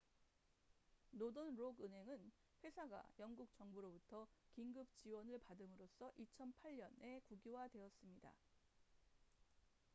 노던록 은행은 회사가 영국 정부로부터 긴급 지원을 받음으로써 2008년에 국유화되었습니다